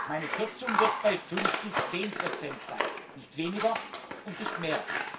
Geld. Meine Kürzung wird bei 5 bis 10 sein nicht weniger und nicht